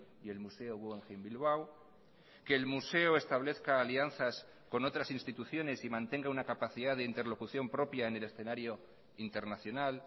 y el museo guggenheim bilbao que el museo establezca alianzas con otras instituciones y mantenga una capacidad de interlocución propia en el escenario internacional